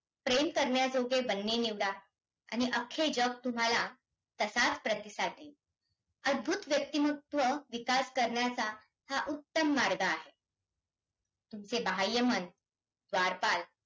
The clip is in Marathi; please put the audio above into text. प्रेम करण्याजोगे बनणे निवडा आणि अख्खे जग तुम्हाला तसाचं प्रतिसाद देईल, अद्भुत व्यक्तिमत्व विकास करण्याचा हा उत्तम मार्ग आहे. तुमचे बाह्यमन द्वारपाल